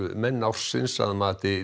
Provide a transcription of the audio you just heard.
menn ársins að mati